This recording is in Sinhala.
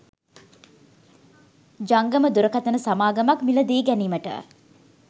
ජංගම දුරකථන සමාගමක් මිලදී ගැනීමට